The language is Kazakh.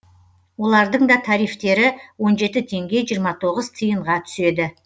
олардың да тарифтері он жеті теңге жиырма тоғыз тиынға түседі